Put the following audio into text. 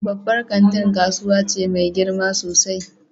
Babban kanti kasuwa ce mai girma sosai.